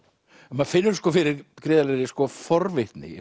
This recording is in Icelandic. maður finnur fyrir gríðarlegri forvitni